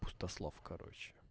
пустослов короче